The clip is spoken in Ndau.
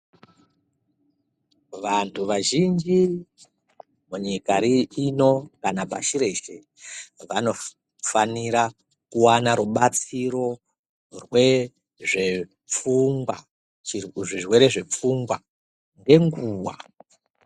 Vantu vazhinji munyika ino kana pashi reshe vanofanira kuwana rubatsiro rwezve pfungwa zvirwere zvepfunhwa ngenguva.